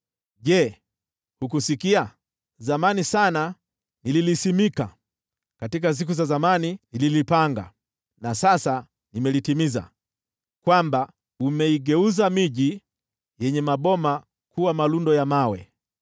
“Je, hujasikia? Zamani sana niliamuru hili. Siku za kale nilipanga hili; sasa nimelifanya litokee, kwamba umegeuza miji yenye ngome kuwa malundo ya mawe.